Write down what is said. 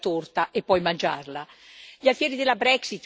come dicono gli inglesi, non si può avere la torta e poi mangiarla.